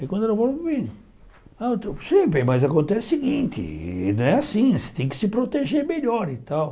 Aí quando ela falou para mim, não eu sei bem mas acontece o seguinte, não é assim, você tem que se proteger melhor e tal.